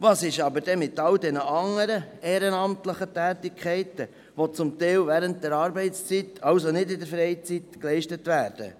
Was ist jedoch mit allen anderen ehrenamtlichen Tätigkeiten, welche teilweise während der Arbeitszeit, also nicht während der Freizeit, geleistet werden?